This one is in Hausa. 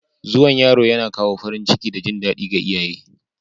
Zuwan yaro yana kawo farin ciki da jin daɗi ga iyaye